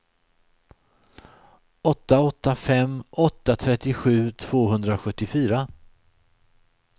åtta åtta fem åtta trettiosju tvåhundrasjuttiofyra